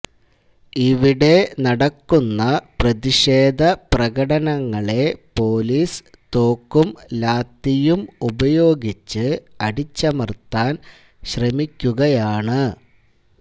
ഇവിടെ നടക്കുന്ന പ്രതിഷേധപ്രകടനങ്ങളെ പൊലീസ് തോക്കും ലാത്തിയും ഉപയോഗിച്ച് അടിച്ചമർത്താൻ ശ്രമിക്കുകയാണ്